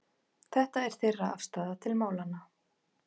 Þetta er þeirra afstaða til málanna